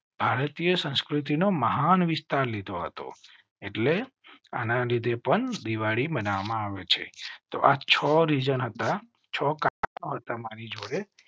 ભારતીય સંસ્કૃતિ નો મહાન વિસ્તાર લીધો હતો. એટલે આના લીધે પણ દિવાળી મનાવવા માં આવે છે તો આ છોરી જનાતા છો તમારી જોડે.